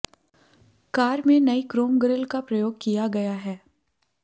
car में नई chrome grille का प्रयोग किया गया है